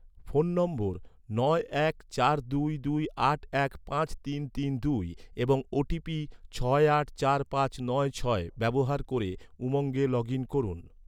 phone number নয় এক চার দুই দুই আট এক পাঁচ তিন তিন দুই এবং ওটিপি ছয় আট চার পাঁচ নয় ছয় ব্যবহার ক’রে, উমঙ্গে লগ ইন করুন